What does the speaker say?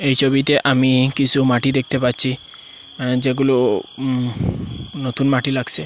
এই ছবিতে আমি কিসু মাটি দেখতে পাচ্ছি যেগুলো নতুন মাটি লাগসে।